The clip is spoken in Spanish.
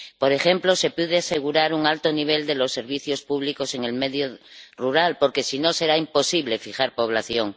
Por ejemplo, se puede asegurar un alto nivel de los servicios públicos en el medio rural, porque si no, será imposible fijar población.